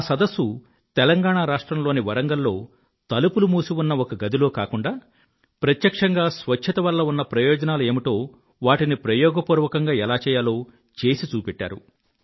ఆ సదస్సు తెలంగాణ రాష్ట్రంలోని వరంగల్ లో తలుపులు మూసి ఉన్న ఒక గదిలో కాకుండా ప్రత్యక్షంగా స్వచ్ఛత వల్ల ఉన్న ప్రయోజనాలు ఏమిటో వాటిని ప్రయోగపూర్వకంగా ఎలా చెయ్యాలో చేసి చూపెట్టారు